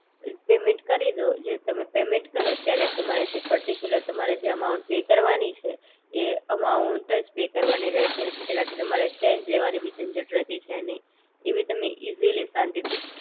payment કરી દો જે તમે પેમેન્ટ કરો ત્યારે તમારે જે પર્ટીક્યુલર તમારે જે અમાઉન્ટ પે કરવાની છે એ એમાઉન્ટ જ પે કરવાની રે છે એનાથી તમારે ચેન્જ લેવાની બી જંજટ રેતી છે નહિ ઈ બી તમે ઇજીલી શાંતિ થી